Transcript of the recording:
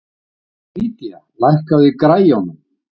Lydia, lækkaðu í græjunum.